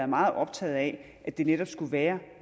meget optaget af at det netop skulle være